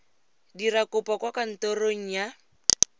dira kopo kwa kantorong ya